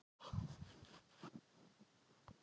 Svo er dimmt, skelfilegt myrkur.